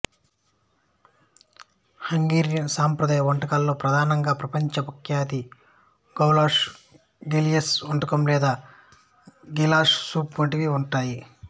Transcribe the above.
Hungarian సంప్రదాయ వంటలలో ప్రధానంగా ప్రపంచ ప్రఖ్యాత గౌలాష్ గిలియస్ వంటకం లేదా గిలాస్ సూప్ వంటివి ఉంటాయి